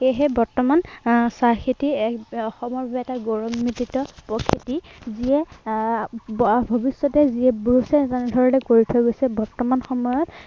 সেয়েহে বৰ্তমান আহ চাহ খেতি এৰ এক অসমৰ বাবে এটা গৌৰাৱান্বিত যিয়ে আহ ভৱিষ্য়তে যিয়ে ব্ৰুছে এনে ধৰনে কৰি থৈ গৈছে বৰ্তমান সময়ত